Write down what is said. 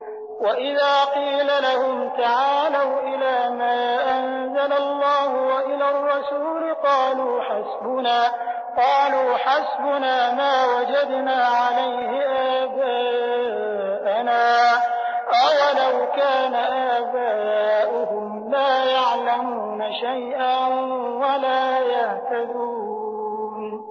وَإِذَا قِيلَ لَهُمْ تَعَالَوْا إِلَىٰ مَا أَنزَلَ اللَّهُ وَإِلَى الرَّسُولِ قَالُوا حَسْبُنَا مَا وَجَدْنَا عَلَيْهِ آبَاءَنَا ۚ أَوَلَوْ كَانَ آبَاؤُهُمْ لَا يَعْلَمُونَ شَيْئًا وَلَا يَهْتَدُونَ